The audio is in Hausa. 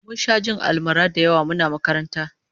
Mun sha jin almara da yawa muna makaranta